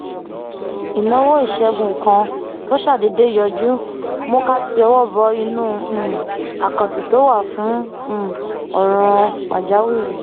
ìnáwó ìṣègùn kan tó ṣàdédé yọjú mú ká ti ọwọ bọ inú um àkáǹtì tó wà fún um òràn pàjáwìrì